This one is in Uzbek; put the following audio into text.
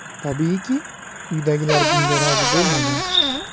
Tabiiyki, uydagilar bunga rozi bo‘lmagan.